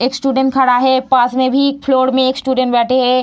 एक स्टूडेंट खड़ा है पास में भी एक फ्लोर में स्टूडेंट बैठे हैं।